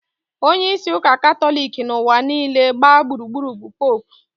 Onyeisi ụka Katọlik n'ụwa niile gbaa gburugburu bụ Popu